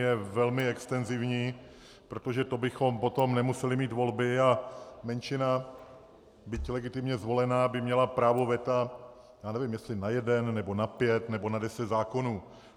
Je velmi extenzivní, protože to bychom potom nemuseli mít volby a menšina, byť legitimně zvolená by měla právo veta, já nevím, jestli na jeden, nebo na pět, nebo na deset zákonů.